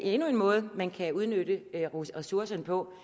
endnu en måde man kan udnytte ressourcerne på